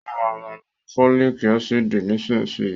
Ó ma ma lo fólìk ácìdì nísinsìnyí